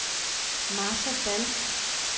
Martha Dall